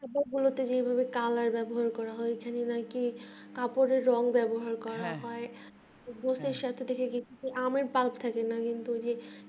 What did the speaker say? খাবার গুলোতে colour ব্যবহার করা হয় ওখানে আবার কি আপনাদের রং ব্যবহার করা হয় যেটার সাথে থেকে হইতেছে যে আমার diet থেকে মানে